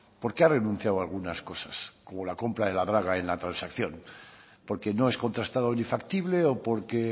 por qué ha renunciado a algunas cosas como la compra de la draga en la transacción porque no es contrastado ni factible o por qué